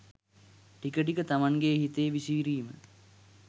ටික ටික තමන්ගේ හිතේ විසිරීම